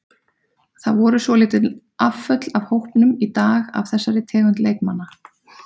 Það voru svolítil afföll af hópnum í dag af þessari tegund leikmanna.